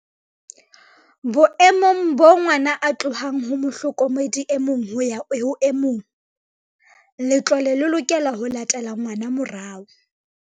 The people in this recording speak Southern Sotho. "Boemong boo ngwana a tlohang ho mohlokomedi e mong ho ya ho e mong, letlole le lokela ho latela ngwana morao."